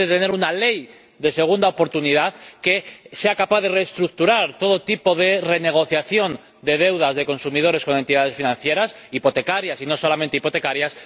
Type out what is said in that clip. es importante contar con una ley de segunda oportunidad que sea capaz de reestructurar todo tipo de renegociación de deudas de consumidores con entidades financieras hipotecarias, y no solamente hipotecarias.